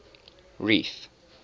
reef